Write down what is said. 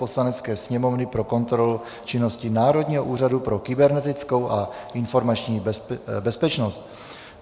Poslanecké sněmovny pro kontrolu činnosti Národního úřadu pro kybernetickou a informační bezpečnost